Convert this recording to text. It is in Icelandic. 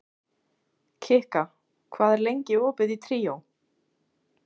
Kikka, hvað er lengi opið í Tríó?